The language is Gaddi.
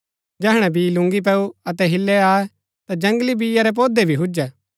जैहणै बी लूंगी पैऊ अतै हिल्लै आये ता जंगली बीया रै पोधै भी हुजै